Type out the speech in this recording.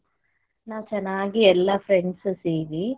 ನಾವು ಚನ್ನಾಗಿ ಎಲ್ಲಾ friends ಸೇರಿ.